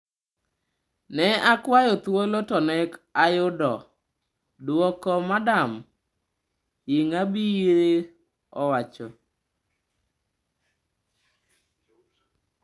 "Ne akwayo thuolo to ne ok ayudo duoko - Madam Ingabire owacho.